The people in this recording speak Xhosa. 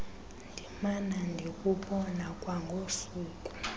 ndimana ndikubona kwangosuku